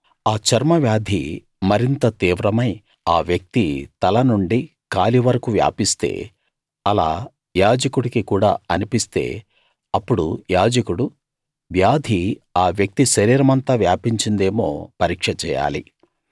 ఆ చర్మ వ్యాధి మరింత తీవ్రమై ఆ వ్యక్తి తలనుండి కాలి వరకూ వ్యాపిస్తే అలా యాజకుడికి కూడా అనిపిస్తే అప్పుడు యాజకుడు వ్యాధి ఆ వ్యక్తి శరీరమంతా వ్యాపించిందేమో పరీక్ష చేయాలి